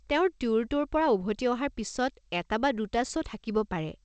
তেওঁৰ ট্যুৰটোৰ পৰা উভতি অহাৰ পিছত এটা বা দুটা শ্ব' থাকিব পাৰে।